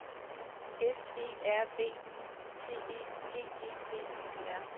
S E R V I C E G E B Y R